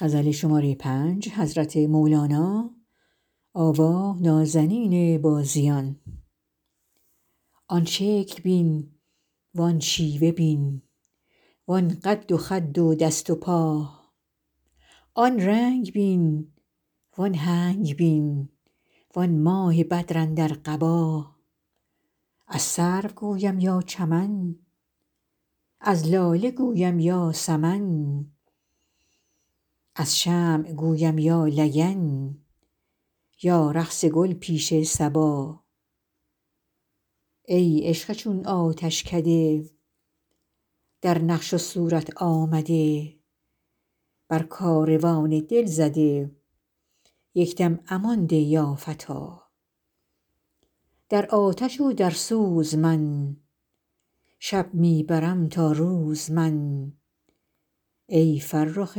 آن شکل بین وان شیوه بین وان قد و خد و دست و پا آن رنگ بین وان هنگ بین وان ماه بدر اندر قبا از سرو گویم یا چمن از لاله گویم یا سمن از شمع گویم یا لگن یا رقص گل پیش صبا ای عشق چون آتشکده در نقش و صورت آمده بر کاروان دل زده یک دم امان ده یا فتی در آتش و در سوز من شب می برم تا روز من ای فرخ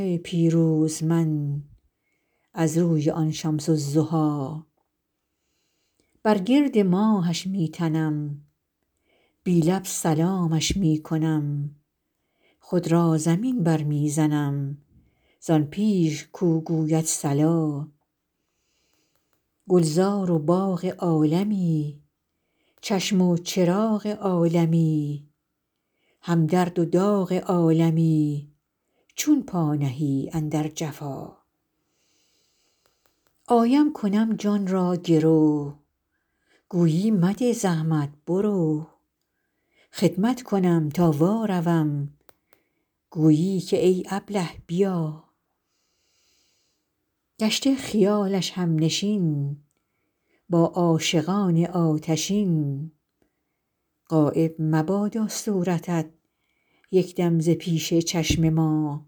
پیروز من از روی آن شمس الضحی بر گرد ماهش می تنم بی لب سلامش می کنم خود را زمین برمی زنم زان پیش کو گوید صلا گلزار و باغ عالمی چشم و چراغ عالمی هم درد و داغ عالمی چون پا نهی اندر جفا آیم کنم جان را گرو گویی مده زحمت برو خدمت کنم تا واروم گویی که ای ابله بیا گشته خیال همنشین با عاشقان آتشین غایب مبادا صورتت یک دم ز پیش چشم ما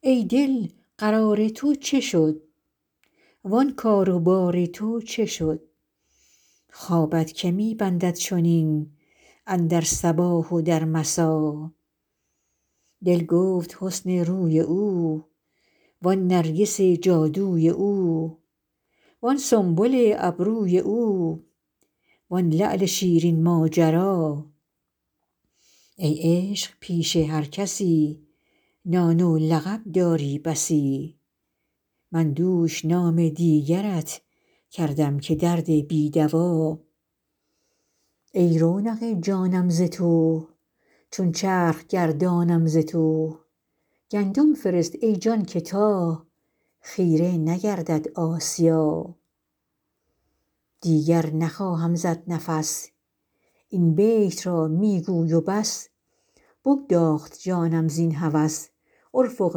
ای دل قرار تو چه شد وان کار و بار تو چه شد خوابت که می بندد چنین اندر صباح و در مسا دل گفت حسن روی او وان نرگس جادوی او وان سنبل ابروی او وان لعل شیرین ماجرا ای عشق پیش هر کسی نام و لقب داری بسی من دوش نام دیگرت کردم که درد بی دوا ای رونق جانم ز تو چون چرخ گردانم ز تو گندم فرست ای جان که تا خیره نگردد آسیا دیگر نخواهم زد نفس این بیت را می گوی و بس بگداخت جانم زین هوس ارفق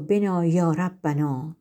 بنا یا ربنا